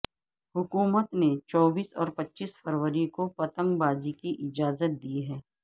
حکومت نے چوبیس اور پچیس فروری کو پتنگ بازی کی اجازت دی ہے